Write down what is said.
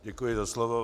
Děkuji za slovo.